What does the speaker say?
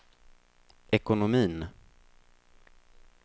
ekonomin